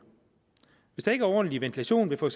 hvis der ikke er ordentlig ventilation ved for